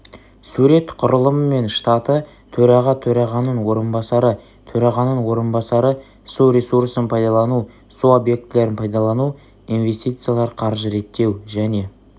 сурет құрылымы мен штаты төраға төрағаның орынбасары төрағаның орынбасары су ресурсын пайдалану су объектілерін пайдалану инвестициялар қаржы реттеу және